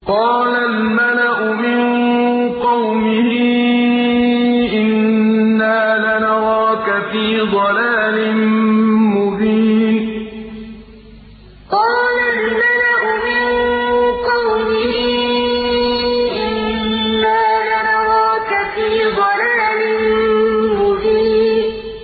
قَالَ الْمَلَأُ مِن قَوْمِهِ إِنَّا لَنَرَاكَ فِي ضَلَالٍ مُّبِينٍ قَالَ الْمَلَأُ مِن قَوْمِهِ إِنَّا لَنَرَاكَ فِي ضَلَالٍ مُّبِينٍ